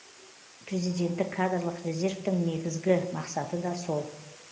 президенттік кадрлық резервтің негізгі мақсаты да сол